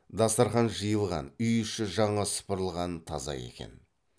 дастарқан жиылған үй іші жаңа сыпырылған таза екен